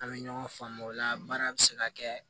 An bɛ ɲɔgɔn faamu o la baara bɛ se ka kɛ